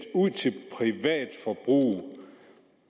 ud til privatforbrug